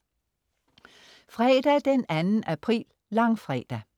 Fredag den 2. april. Langfredag